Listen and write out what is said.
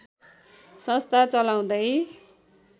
संस्था चलाउँदै